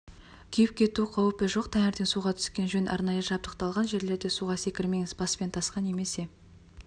күйіп кету қаупі жоқ таңертең суға түскен жөн арнайы жабдықталған жерлерде суға секірмеңіз баспен тасқа немесе